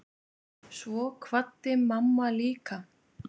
Svo kvaddi mamma líka.